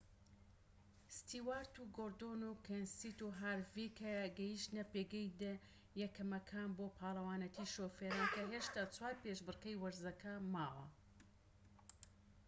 ستیوارت و گۆردۆن و کێنسیت و هارڤیک گەیشتنە پێگەی دە یەکەمەکان بۆ پاڵەوانیەتی شوفێران کە هێشتا چوار پێشبڕکێی وەرزەکە ماوە